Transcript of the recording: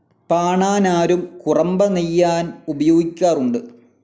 പാണാനാരും കുറമ്പ നെയ്യാൻ ഉപയോഗിക്കാറുണ്ട്.